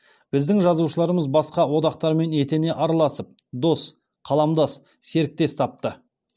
біздің жазушыларымыз басқа одақтармен етене араласып дос қаламдас серіктес тапты